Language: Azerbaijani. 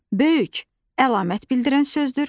Böyük əlamət bildirən sözdür.